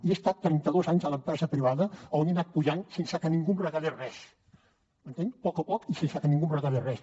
i he estat trenta dos anys a l’empresa privada on he anat pujant sense que ningú em regalés res m’entén a poc a poc i sense que ningú em regalés res